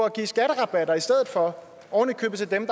at give skatterabatter i stedet for ovenikøbet til dem